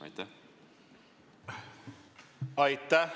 Aitäh!